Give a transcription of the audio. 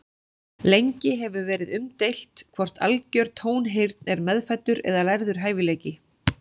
Lengi hefur verið umdeilt hvort algjör tónheyrn er meðfæddur eða lærður hæfileiki.